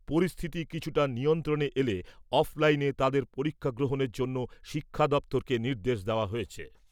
পরিস্থিতি কিছুটা নিয়ন্ত্রণে এলে অফলাইনে তাদের পরীক্ষা গ্রহণের জন্য শিক্ষা দপ্তরকে নির্দেশ দেওয়া হয়েছে।